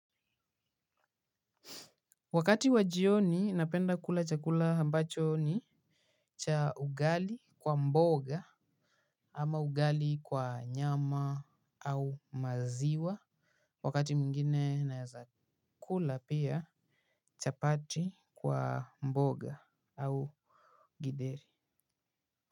Wakati wa jioni napenda kula chakula ambacho ni cha ugali kwa mboga. Ama ugali kwa nyama au maziwa wakati mwingine naweza kula pia chapati kwa mboga au githeri.